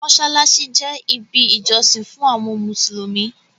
Mọ́ṣáláṣí je ibi ìjọsìn fún àwọn mùsùlùmí